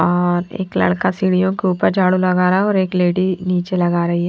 और एक लड़का सीढ़ियों के ऊपर झाड़ू लगा रहा है और एक लेडी नीचे लगा रही है।